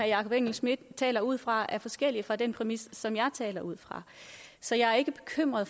jakob engel schmidt taler ud fra er forskellig fra den præmis som jeg taler ud fra så jeg er ikke bekymret